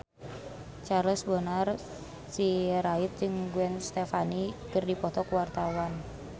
Charles Bonar Sirait jeung Gwen Stefani keur dipoto ku wartawan